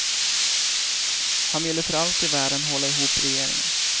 Han ville för allt i världen hålla ihop regeringen.